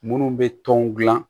Munnu bɛ tɔn dilan